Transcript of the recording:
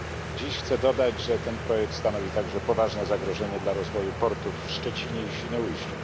Dziś chcę dodać, że ten projekt stanowi także poważne zagrożenie dla rozwoju portów w Szczecinie i Świnoujściu.